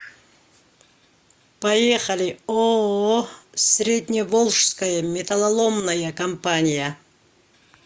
поехали ооо средневолжская металлоломная компания